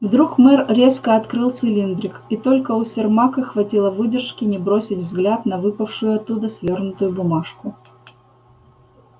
вдруг мэр резко открыл цилиндрик и только у сермака хватило выдержки не бросить взгляд на выпавшую оттуда свёрнутую бумажку